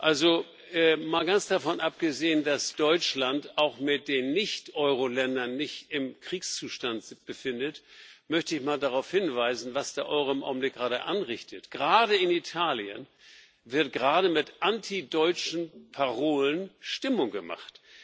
Also mal ganz davon abgesehen, dass Deutschland sich auch mit den Nicht Euro Ländern nicht im Kriegszustand befindet, möchte ich mal darauf hinweisen, was der Euro im Augenblick anrichtet Gerade in Italien wird derzeit mit antideutschen Parolen Stimmung gemacht.